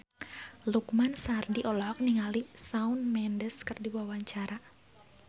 Lukman Sardi olohok ningali Shawn Mendes keur diwawancara